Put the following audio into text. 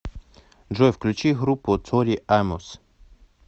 джой включи группу тори амос